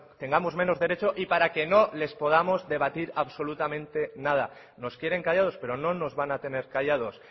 tengamos menos derecho y para que no les podamos debatir absolutamente nada nos quieren callados pero no nos van a tener callados